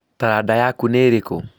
Taranda yaku nĩ ĩrikũ?